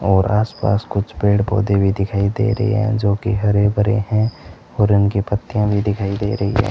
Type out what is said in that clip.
और आसपास कुछ पेड़ पौधे भी दिखाई दे रहे हैं जो कि हरे भरे हैं और उनकी पत्तियां भी दिखाई दे रही है।